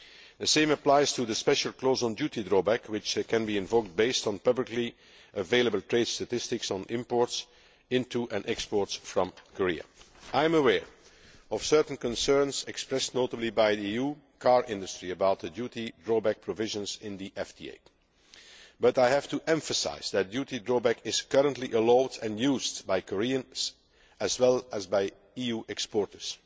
The same applies to the special clause on duty drawback, which can be invoked based on publicly available trade statistics on imports into and exports from Korea. I am aware of certain concerns expressed, notably by the EU car industry, about the duty drawback provisions in the FTA, but I have to emphasise that duty drawback is currently allowed and used by Koreans as well as by EU exporters.